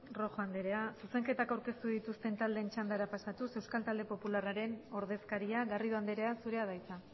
rojo anderea zuzenketak aurkeztu dituzten taldeen txandara pasatuz euskal talde popularraren ordezkaria garrido andrea zurea da hitza